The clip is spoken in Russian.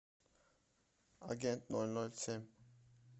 агент ноль ноль семь